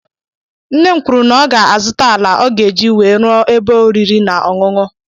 Nne m kwụrụ na ọ ga azụta àlà ọ ga -eji wee rụọ ebe oriri na ọṅụṅụ.